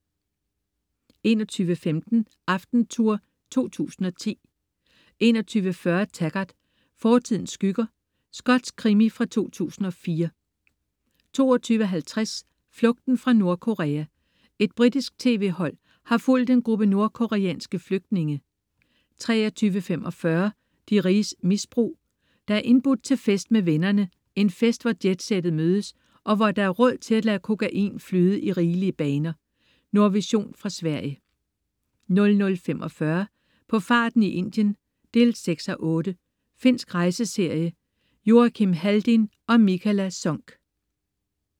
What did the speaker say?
21.15 Aftentour 2010 21.40 Taggart: Fortidens skygger. Skotsk krimi fra 2004 22.50 Flugten fra Nordkorea. Et britisk tv-hold har fulgt en gruppe nordkoreanske flygtninge 23.45 De riges misbrug. Der er indbudt til fest med vennerne, en fest hvor jetsettet mødes og hvor der er råd til at lade kokain flyde i rigelige baner. Nordvision fra Sverige 00.45 På farten i Indien 6:8. Finsk rejseserie. Joakim Haldin og Mikaela Sonck